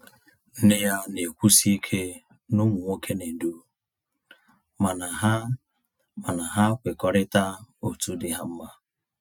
Nne ya na-ekwusi ike na ụmụ nwoke na-edu, mana ha mana ha kwekọrịta otu dị ha mma